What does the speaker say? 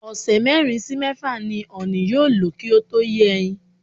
Ọ̀sẹ̀ mérin sí mẹ́fà ni ọ̀nì yóò lò kí ó tó yé ẹyin.